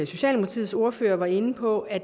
socialdemokratiets ordfører var inde på at